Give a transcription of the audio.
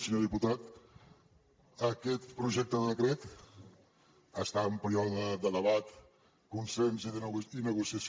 senyor diputat aquest projecte de decret està en període de debat consens i negociació